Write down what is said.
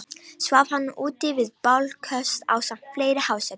Svaf hann úti við bálköst ásamt fleiri hásetum.